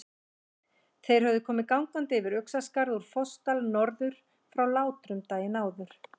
Þeir höfðu komið gangandi yfir Uxaskarð úr Fossdal norður frá Látrum daginn áður.